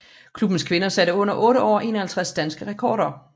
Klubbens kvinder satte under otte år 51 danske rekorder